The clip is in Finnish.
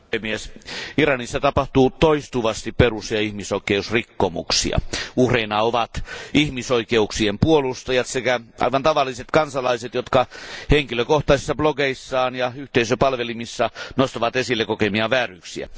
Arvoisa puhemies, Iranissa tapahtuu toistuvasti perus ja ihmisoikeusrikkomuksia. Uhreina ovat ihmisoikeuksien puolustajat sekä aivan tavalliset kansalaiset, jotka henkilökohtaisissa blogeissaan ja yhteisöpalvelimissa nostavat esille kokemiaan vääryyksiä.